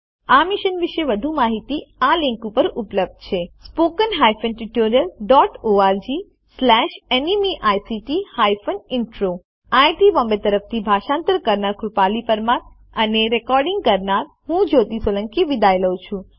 આ મિશન વિશે વધુ માહીતી આ લીંક ઉપર ઉપલબ્ધ છે httpspoken tutorialorgNMEICT intro IIT Bombay તરફથી ભાષાંતર કરનાર હું કૃપાલી પરમાર વિદાય લઉં છું